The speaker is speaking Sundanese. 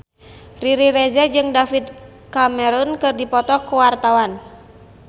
Riri Reza jeung David Cameron keur dipoto ku wartawan